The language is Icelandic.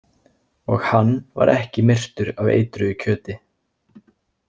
Og hann var ekki myrtur af eitruðu kjöti.